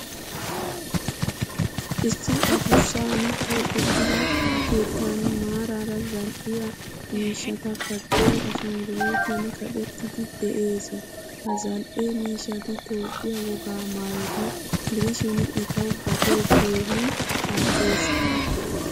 Issi addussan keexettida keettan maaraara zal'iyaa miishshata kaqqiyo ashanguluutiyan kaqqettidi de'ees. Ha zal'ee miishshati Toophphiyaa wogaa maayota gidishin etawu gatee keehin al''ees.